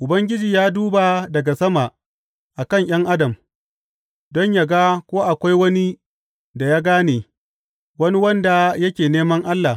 Ubangiji ya duba daga sama a kan ’yan adam don yă ga ko akwai wani da ya gane, wani wanda yake neman Allah.